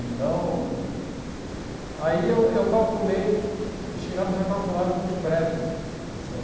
Então, aí eu eu calculei, chegamos a calcular alguns prédios, está certo?